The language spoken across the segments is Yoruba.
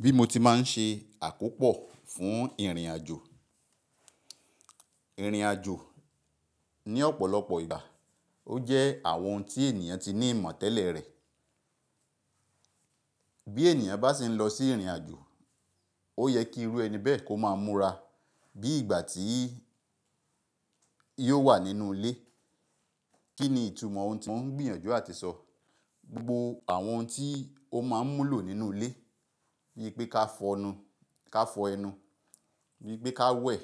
Bí mo ti máa ń ṣe àkópò fún ìrìnàjò. Ìrìnàjò ní ọ̀pọ̀lọpọ̀ ìgbà ó jẹ́ àwọn ohun tí ènìyàn ti ní ìmọ̀ tẹ́lẹ̀ rẹ̀. Bí ènìyàn bá si ń lọ sí ìrìnàjò, ó yẹ kí irú ẹni bẹ́ẹ̀ kó máa múra bí ìgbà tí yóò wà nínú ilé. Kí ni ìtumọ̀ ohun tí mò ń gbìyànjú àti sọ? Gbogbo àwọn ohun tí ó máa ń mú lò nínú ilé, bíi pé ká fọ ẹnu, bíi pé ká wẹ̀,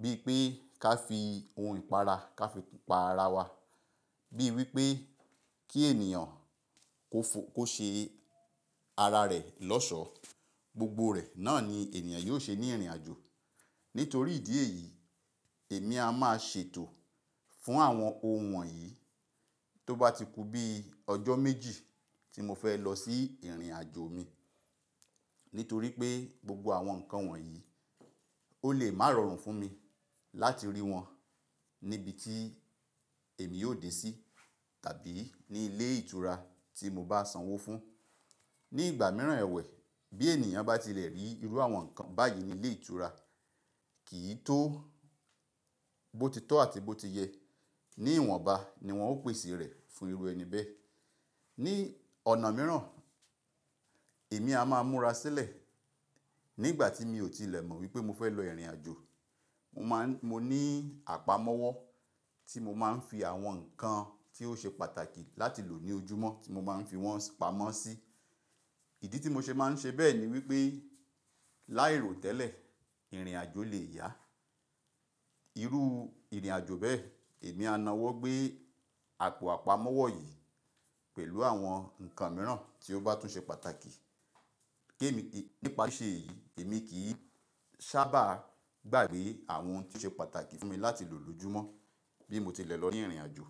bíi pé ká fi ohun ìpara ká fi pa ara wa, bíi wípé kí ènìyàn kó ṣe ara rẹ̀ lọ́ṣọ̀ọ́, gbogbo rẹ̀ náà ni ènìyàn yóò ṣe ní ìrìnàjò. Nítorí ìdí èyí, èmi a máa ṣètò fún àwọn ohun wọ̀nyí tó bá ti ku bí ọjọ́ méjì tí mo fẹ́ lọ sí ìrìnàjò mi. Nítorí pé gbogbo àwọn nǹkan wọ̀nyí ó lè má rọrùn fún mi láti rí wọn ní ibi tí èmi yóò dé sí tàbí ní ilé ìtura tí mo bá sanwó fún. Ní ìgbà mìíràn ẹ̀wẹ̀, bí ènìyàn bá tilẹ̀ rí irú àwọn nǹkan báyìí ní ilé ìtura, kì í tó bó ti tọ́ àti bó ti yẹ. Ní ìwọ̀nba ni wọ́n ó pèsè rẹ̀ fún irú ẹni bẹ́ẹ̀. Ni ọ̀nà mìíràn, èmi a máa múra sílẹ̀ nígbà tí mi ò tilẹ̀ mọ wípé mo fẹ́ lọ ìrìnàjò. Mo ní àpamọ́wọ́ tí mo máa ń fi àwọn nǹkan tí ó ṣe pàtàkì láti lò ní ojúmọ́ tí mo máa ń fi wọ́n pamọ́ sí. Ìdí tí mo ṣe máa ń ṣe bẹ́ẹ̀ ni wípé láìró tẹ́lẹ̀, ìrìnàjò lè yá. Irú ìrìnàjò bẹ́ẹ̀ èmi á na wọ́ gbé àpò àpamọ́wọ́ yìí pẹ̀lú àwọn nǹkan mìíràn tí ó bá tún ṣe pàtàkì. Nípa sí ṣe èyí, èmi kì í sábà gbàgbé àwọn ohun tí ó ṣe pàtàkì fún mi láti lò lójúmọ́ bí mo tilẹ̀ lọ ní ìrìnàjò.